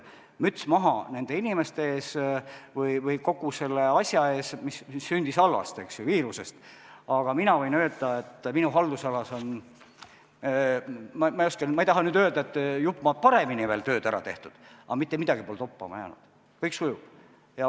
Müts maha nende inimeste ees või kogu selle asja ees, mis sündis halvast, eks ju, viirusest, aga minu haldusalas, ma ei taha nüüd öelda, et sai jupp maad paremini töö ära tehtud, aga mitte midagi pole toppama jäänud, kõik sujub.